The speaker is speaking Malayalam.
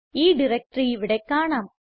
ഈ ഡയറക്ടറി ഇവിടെ കാണാം